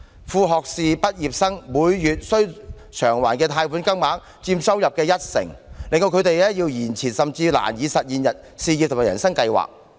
副學位畢業生每月須償還的貸款金額，佔收入約一成，令他們要延遲甚或難以實現事業和人生計劃。